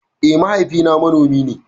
Eh mahaifi na manomi ne